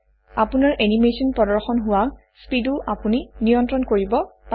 আপোনাৰ এনিমেচন প্ৰদৰ্শন হোৱা স্পীডো আপুনি নিয়ন্ত্ৰণ কৰিব পাৰে